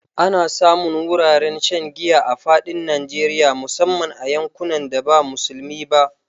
Ana samun wuraren shan giya a fadin Najeriya musamman a yankunan da ba musulmi ba.